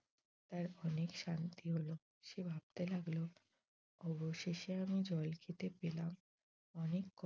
তার অনেক শান্তি হল। সে ভাবতে লাগল অবশেষে আমি জল খেতে পেলাম অনেক